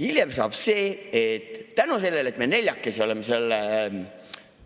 Hiljem saab see, et tänu sellele, et me neljakesi oleme selle